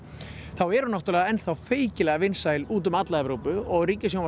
þá er hún náttúrulega enn þá feykilega vinsæl úti um alla Evrópu og